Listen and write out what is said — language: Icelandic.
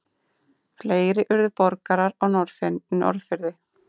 Fleiri urðu borgarar á Norðfirði.